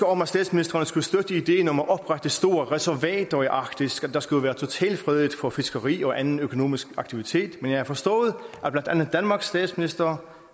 om at statsministrene skulle støtte ideen om at oprette store reservater i arktis at der skulle være totalfredet for fiskeri og anden økonomisk aktivitet men jeg har forstået at blandt andet danmarks statsminister